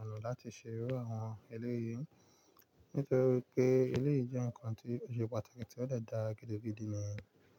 ọ̀nà láti ṣe iru àwọn eléyí, nítorí pé eleyí jẹ́ ǹkan tí ó ṣe pàtàkì tí ó dè dá gidi gidi ni.